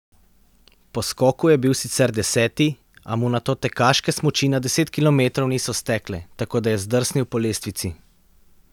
Po skoku je bil sicer deseti, a mu nato tekaške smuči na deset kilometrov niso stekle, tako da je zdrsnil po lestvici.